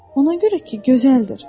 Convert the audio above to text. Ona görə ki, gözəldir.